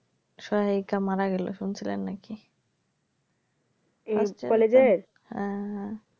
সহায়িকা মারা গেল শুনছিলেন নাকি হ্যাঁ হ্যাঁ